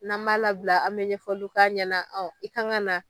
N'an m'a labila, an mi ɲɛfɔli k'a ɲɛna i ka kan ka na